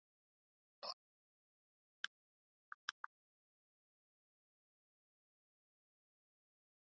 En hverju sætti að hann ákvað að velja Maríu núna?